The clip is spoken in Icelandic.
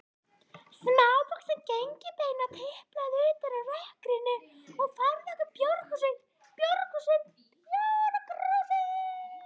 Smávaxin gengilbeina tiplaði utan úr rökkrinu og færði okkur bjórkrúsir.